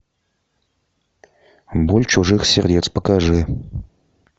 боль чужих сердец покажи